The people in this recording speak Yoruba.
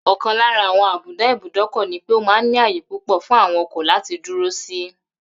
Ò̩kan lára àwo̩n àbùdá ìbúdókò̩ ní pé ó máa ń ní àyè púpò̩ fún àwo̩n o̩kò̩ láti dúró sí